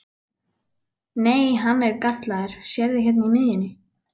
Nei, hann er gallaður, sérðu hérna í miðjunni.